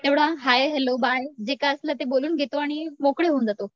तेवढं hi, hello, bye जे काय असलं ते बोलून घेतो आणि मोकळे होऊन जातो.